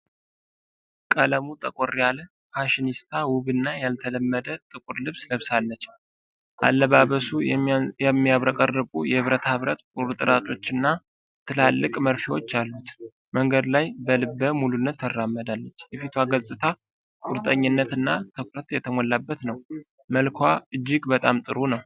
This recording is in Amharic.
ቀለሙ ጠቆር ያለ ፋሽኒስታ፣ ውብ እና ያልተለመደ ጥቁር ልብስ ለብሳለች። አለባበሱ የሚያብረቀርቁ የብረታብረት ቁርጥራጮችና ትላልቅ መርፌዎች አሉት። መንገድ ላይ በልበ ሙሉነት ትራመዳለች፤ የፊቷ ገጽታ ቁርጠኝነት እና ትኩረት የተሞላበት ነው። መልክዋ እጅግ በጣም ጥሩ ነው።